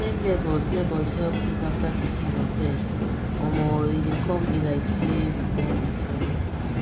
wen neighbours neighbours help look after pikin or pets omo e dey come be like say we be one big family